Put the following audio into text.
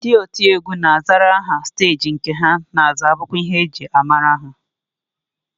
Ndị otiegwu na-azara aha steeji nke ha na-aza bụkwa ihe e ji amara ha